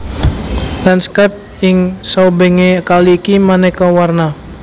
Lanskap ing saubengé kali iki manéka warna